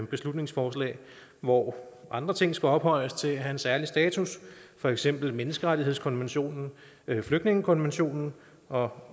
beslutningsforslag hvor andre ting skal ophøjes til at have en særlig status for eksempel menneskerettighedskonventionen flygtningekonventionen og